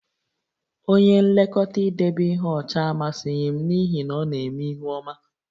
Onye nlekọta idebe ihe ọcha amasịghị m n'ihi na ọ na-eme ihu ọma